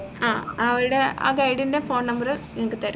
ആഹ് അവിടെ ആഹ് guide ൻറെ phone number നിങ്ങക്ക് തരും